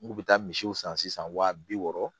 N kun bɛ taa misiw san sisan wa bi wɔɔrɔ